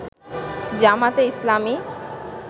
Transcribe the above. জামায়াতে ইসলামী